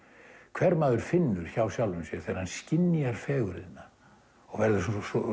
hver maður finnur hjá sjálfum sér þegar hann skynjar fegurðina og verður